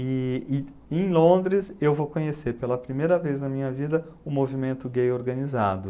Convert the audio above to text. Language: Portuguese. E e em Londres eu vou conhecer pela primeira vez na minha vida o movimento gay organizado.